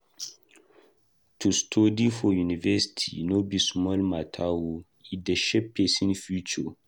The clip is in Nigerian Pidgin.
To study for university no be small mata o, e dey shape pesin future.